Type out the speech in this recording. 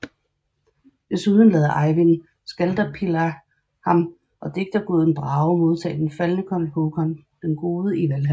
Desuden lader Eyvind Skaldaspillir ham og digterguden Brage modtage den faldne kong Håkon den Gode i Valhal